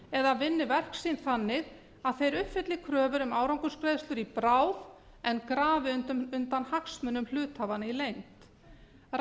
eða vinni verk sín þannig að þeir uppfylli kröfur um árangursgreiðslur í bráð en grafi undan hagsmunum hluthafanna á reynd